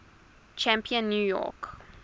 champion new york